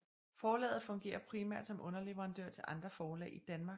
Forlaget fungerer primært som underleverandør til andre forlag i Danmark og udlandet